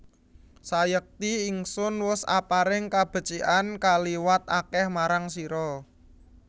Sayekti Ingsun wus aparing kabecikan kaliwat akeh marang sira